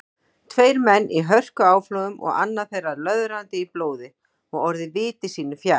Tveir menn í hörkuáflogum og annar þeirra löðrandi í blóði og orðinn viti sínu fjær.